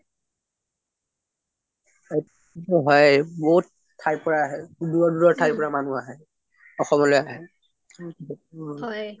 অ হয় বহুত ঠাইৰ পৰা আহে বহুত দুৰৰ দুৰৰ পৰা আহে অসমলৈ আহে